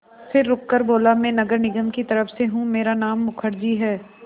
फिर रुककर बोला मैं नगर निगम की तरफ़ से हूँ मेरा नाम मुखर्जी है